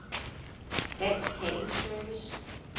Dansk Handel & Service